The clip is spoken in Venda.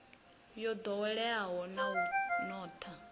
yo ḓoweleaho na u notha